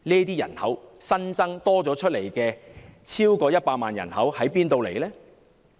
這批新增超過100萬的人口從何而來？